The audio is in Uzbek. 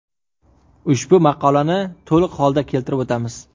Ushbu maqolani to‘liq holda keltirib o‘tamiz.